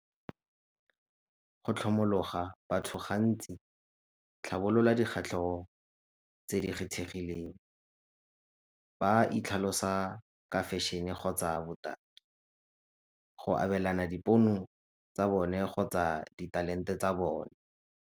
Go tlhomologa batho gantsi, tlhabolola , tse di kgethegileng. Ba itlhalosa ka fashion-e kgotsa botaki, go abelana dipono tsa bone kgotsa ditalente tsa bone.